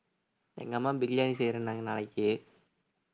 எங்க அம்மா பிரியாணி செய்யறேன்னாங்க நாளைக்கு